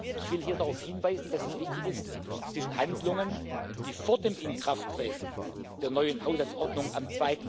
Ich will hier darauf hinweisen, dass es wichtig ist, zwischen Handlungen, die vor dem Inkrafttreten der neuen Haushaltsordnung am